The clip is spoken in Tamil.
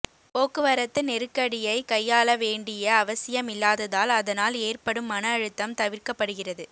போக்குவரத்து நெருக் கடியை கையாள வேண்டிய அவசியம் இல்லாததால் அதனால் ஏற்படும் மன அழுத்தம் தவிர்க்கப்படுகிறது